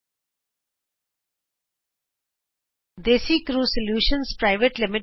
desi crew solutions private limited Desicrew solutions PVT